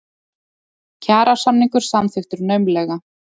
Kjarasamningur samþykktur naumlega